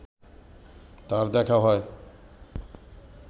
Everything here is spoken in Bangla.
তার দেখা হয়